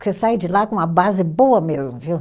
Você sai de lá com uma base boa mesmo, viu?